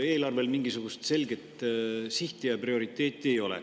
Eelarvel mingisugust selget sihti ja prioriteeti ei ole.